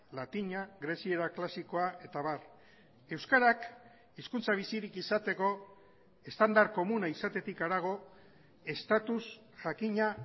latina greziera klasikoa eta abar euskarak hizkuntza bizirik izateko estandar komuna izatetik harago estatus jakina